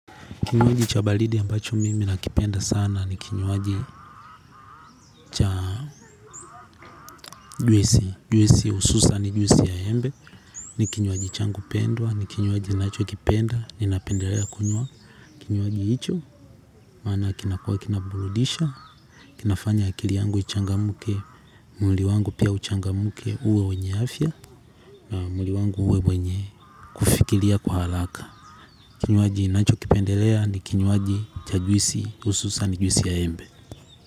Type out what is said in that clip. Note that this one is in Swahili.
Kinywaji cha baridi ambacho mimi nakipenda sana ni kinywaji cha juisi, juisi hususan ni juisi ya embe, ni kinywaji changu pendwa, ni kinywaji nacho kipenda, ninapendelea kunywa, kinywaji hicho, maana kinakuwa kinaburudisha kinafanya akili yangu ichangamke mwili wangu pia uchangamke uwe wenye afya na mwili wangu uwe wenye kufikiria kwa haraka. Kinywaji nacho kipendelea ni kinywaji cha juisi hususan juisi ya embe.